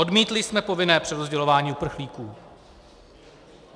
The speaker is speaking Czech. Odmítli jsme povinné přerozdělování uprchlíků.